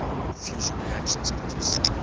fusion reactions producing